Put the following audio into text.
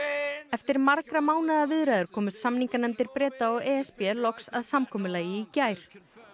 eftir margra mánaða viðræður komust samninganefndir Breta og e s b loks að samkomulagi í gær